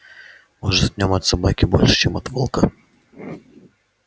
может в нём от собаки больше чем от волка